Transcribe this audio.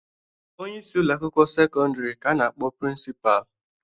Onyeisi ụlọ akwụkwọ sekọndịrị ka a na-akpọ prịnsịpalị.